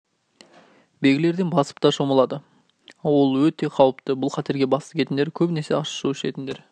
белгілерден асып та шомылады ол өте қауіпті бұл қатерге бас тігетіндер көбінесе ащы су ішетіндер